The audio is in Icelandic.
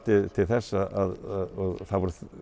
til þess að að það voru